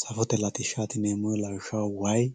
safote latishshaati yineemmo woyte lawishshaho wayi